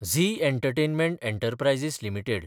Zee entertainment enterprises limited